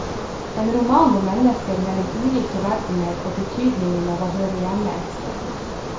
En roman om mennesker mellom ulike verdener og betydningen av å høre hjemme et sted.